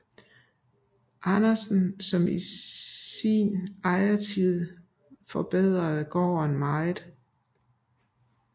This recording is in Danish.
Andersen som i sin ejertid forbedrede gården meget